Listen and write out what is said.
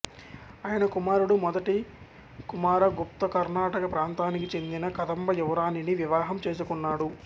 ఆయన కుమారుడు మొదటి కుమారగుప్త కర్ణాటక ప్రాంతానికి చెందిన కదంబ యువరాణిని వివాహం చేసుకున్నాడు